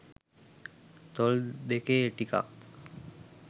තොල් දෙකේ ටිකක්